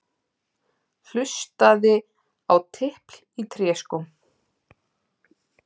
Hlustaði á tipl í tréskóm.